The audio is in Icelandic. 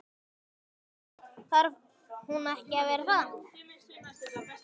Lillý: Þarf hún ekki að vera það?